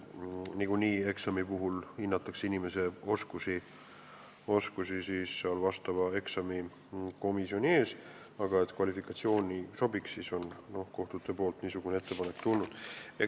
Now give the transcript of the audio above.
Nagunii eksamikomisjon hindab inimese oskusi, aga et kvalifikatsioon sobiks, siis on kohtutelt niisugune ettepanek tulnud.